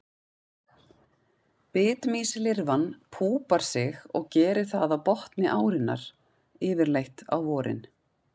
Bitmýslirfan púpar sig og gerir það á botni árinnar, yfirleitt á vorin.